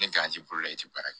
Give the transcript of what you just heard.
Ni i ti baara